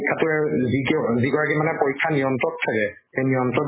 পৰীক্ষাটোৰ আৰ DTO যি গৰাকি মানে পৰীক্ষা নিয়ন্ত্ৰক থাকে, সেই নিয়ন্ত্ৰক গৰাকিয়ে